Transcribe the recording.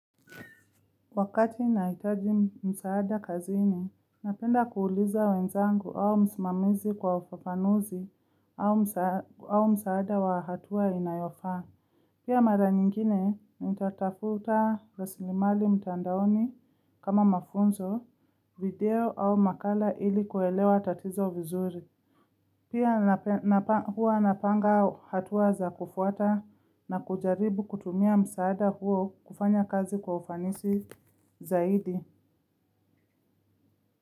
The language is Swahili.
Wakati nahitaji msaada kazini, napenda kuuliza wenzangu au msmamizi kwa ufafanuzi au msaada wa hatua inayofaa. Pia mara nyingine, nitatafuta rasilimali mtandaoni kama mafunzo video au makala ili kuelewa tatizo vizuri. Pia huwa napanga hatua za kufuata na kujaribu kutumia msaada huo kufanya kazi kwa ufanisi zaidi.